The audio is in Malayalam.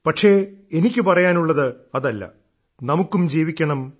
പക്ഷേ എനിക്കു പറയാനുള്ളത് അതല്ല നമുക്കും ജീവിക്കണം